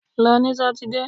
Lọ ní sátidé!